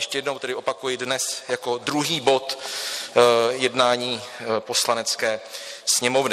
Ještě jednou tedy opakuji: dnes jako druhý bod jednání Poslanecké sněmovny.